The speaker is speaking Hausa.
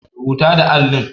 Rubata da allin.